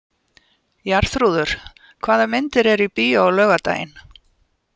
Jarþrúður, hvaða myndir eru í bíó á laugardaginn?